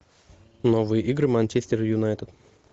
новые игры манчестер юнайтед